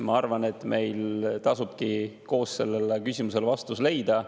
Ma arvan, et meil tasubki koos sellele küsimusele vastus leida.